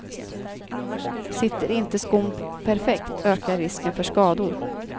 Sitter inte skon perfekt ökar risken för skador.